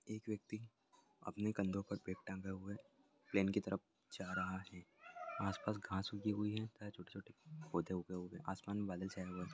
एक व्यक्ति अपने कंधों पर बैग टंगा हुआ है प्लेन की तरफ जा रहा है आस-पास घास उगी हुई है तथा छोटे-छोटे पौधे उगी हुई है आसमान में बादल छाया हुआ है।